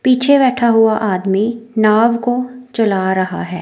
पीछे बैठा हुआ आदमी नाव को चला रहा है।